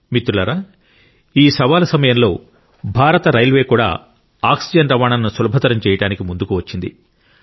మిత్రులారా ఈ సవాలు సమయంలో భారత రైల్వే కూడా ఆక్సిజన్ రవాణాను సులభతరం చేయడానికి ముందుకు వచ్చింది